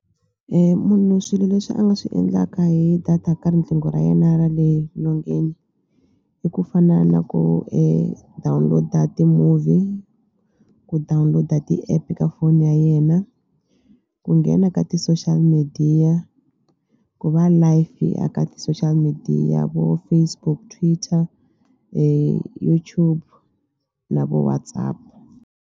Munhu swilo leswi a nga swi endlaka hi data ka riqingho ra yena ra le nyongeni i ku fana na ku download-a ti-movie ku download-a ti-app ka foni ya yena ku nghena ka ti-social media ku va live eka ti-social media vo Facebook, Twitter, YouTube na vo WhatsApp.